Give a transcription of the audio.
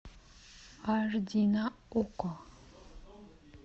аш ди на окко